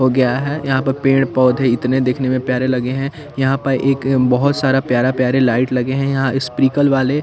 हो गया है यहाँ पर पेड़ पौधे इतने दिखने में प्यारे लगे है यहाँ पर एक बोहोत सारा प्यारा प्यारे लाइट लगे है यहाँ स्प्रिल वाले --